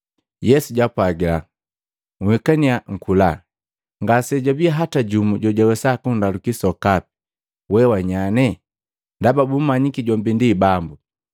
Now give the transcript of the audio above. Yesu jaapwagila, “Nhikannya nkula.” Ngajabii hata jumu jojawesa kundaluki sokapi. “We wa nyane.” Ndaba bumanyiki jombi ndi Bambu.